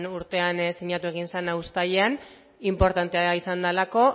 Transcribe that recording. urtean sinatu egin zena uztailean inportantea izan delako